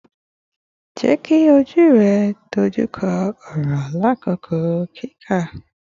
Jeki oju rẹ dojukọ ọrọ lakoko kika